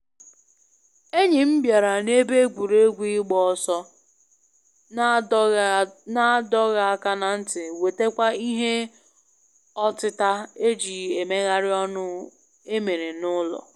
Enyim bịara na ebe egwuregwu ịgba ọsọ na adọghị adọghị aka na ntị wetakwa ihe ọtịta eji emegharị ọnụ emere na ụlọ